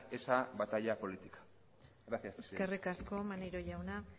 esa batalla política gracias eskerrik asko maneiro jauna